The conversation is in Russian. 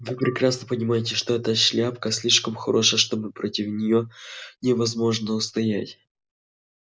вы прекрасно понимаете что эта шляпка слишком хороша что против неё невозможно устоять